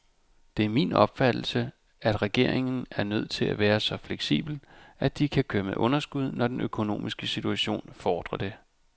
Det er min opfattelse, at regeringer er nødt til at være så fleksible, at de kan køre med underskud, når den økonomiske situation fordrer det.